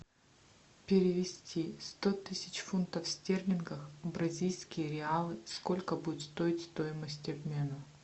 перевести сто тысяч фунтов стерлингов в бразильские реалы сколько будет стоить стоимость обмена